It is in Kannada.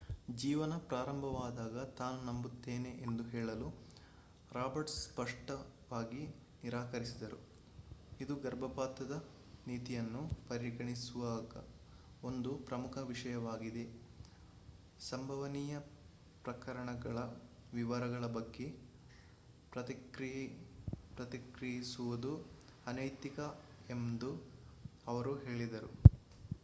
ಜೀವನ ಪ್ರಾರಂಭವಾದಾಗ ತಾನು ನಂಬುತ್ತೇನೆ ಎಂದು ಹೇಳಲು ರಾಬರ್ಟ್ಸ್ ಸ್ಪಷ್ಟವಾಗಿ ನಿರಾಕರಿಸಿದರು ಇದು ಗರ್ಭಪಾತದ ನೀತಿಯನ್ನು ಪರಿಗಣಿಸುವಾಗ ಒಂದು ಪ್ರಮುಖ ವಿಷಯವಾಗಿದೆ ಸಂಭವನೀಯ ಪ್ರಕರಣಗಳ ವಿವರಗಳ ಬಗ್ಗೆ ಪ್ರತಿಕ್ರಿಯಿಸುವುದು ಅನೈತಿಕ ಎಂದು ಅವರು ಹೇಳಿದರು